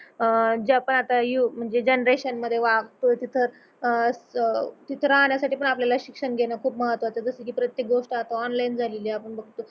अह ज्यापण आता म्हणजे जनरेशन मध्ये वागतोयप्रत्येक गोष्ट आता तिथं अह तिथं राहण्यासाठी पण आपल्याला शिक्षण घेण खूप महत्वाच जस की प्रत्येक गोष्ट आता ओनलायीन झालेली आपण बघतो